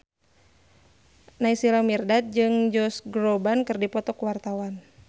Naysila Mirdad jeung Josh Groban keur dipoto ku wartawan